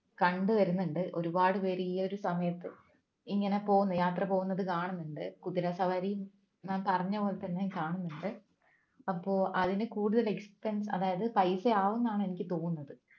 കണ്ടു വരുന്നുണ്ട് ഒരുപാട് പേര് ഈ ഒരു സമയത്ത് ഇങ്ങനെ പോകുന്നു യാത്ര പോകുന്നത് കാണുന്നുണ്ട് കുതിര സവാരി പറഞ്ഞപോലെ തന്നെ കാണുന്നുണ്ട് അപ്പോ അതിനു കൂടുതൽ expense അതായത് പൈസ ആവുംന്നാണ് എനിക്ക് തോന്നുന്നത്